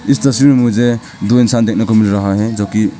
इस तस्वीर में मुझे दो इंसान देखने को मिल रहा है जोकि--